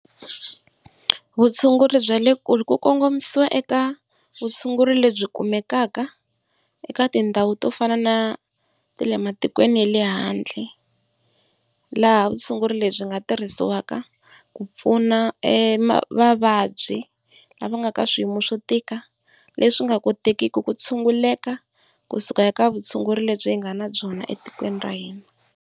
Vutshunguri bya le kule ku kongomisiwa eka vutshunguri lebyi kumekaka eka tindhawu to fana na ta le matikweni ya le handle. Laha vutshunguri lebyi byi nga tirhisiwaka ku pfuna vavabyi lava nga ka swiyimo swo tika leswi nga kotekiki ku tshunguleka kusuka eka vutshunguri lebyi hi nga na byona etikweni ra hina.